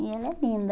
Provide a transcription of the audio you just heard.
E ela é linda.